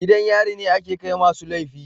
gidan yari ne ake Kai ma su laifi.